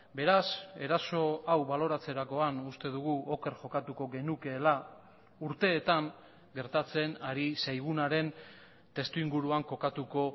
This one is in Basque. beraz eraso hau baloratzerakoan uste dugu oker jokatuko genukeela urteetan gertatzen ari zaigunaren testuinguruan kokatuko